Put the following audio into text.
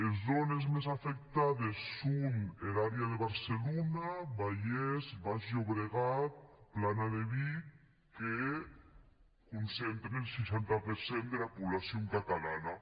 es zònes mès afectades son er àrea de barcelona vallès baix llobregat plana de vic que concentren seixanta per cent dera poblacion catalana